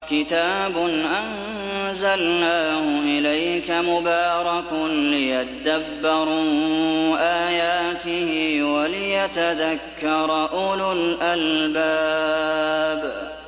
كِتَابٌ أَنزَلْنَاهُ إِلَيْكَ مُبَارَكٌ لِّيَدَّبَّرُوا آيَاتِهِ وَلِيَتَذَكَّرَ أُولُو الْأَلْبَابِ